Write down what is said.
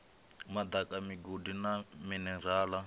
madaka migodi na minerale na